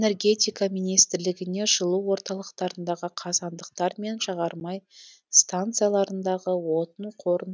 энергетика министрлігіне жылу орталықтарындағы қазандықтар мен жағармай станциялардағы отын қорын